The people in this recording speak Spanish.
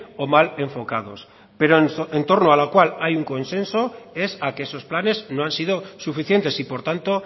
o mal enfocados pero entorno a lo cual hay un consenso es a que esos planes no han sido suficientes y por tanto